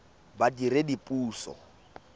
badiredipuso